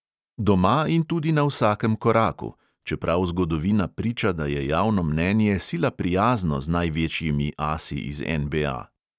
Doma in tudi na vsakem koraku, čeprav zgodovina priča, da je javno mnenje sila prijazno z največjimi asi iz NBA.